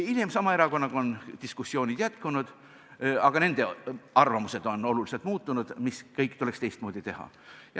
Hiljem on sama erakonnaga diskussioonid jätkunud, aga nende arvamused on oluliselt muutunud, mis kõik tuleks teistmoodi teha.